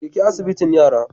Jeki asibitin yara.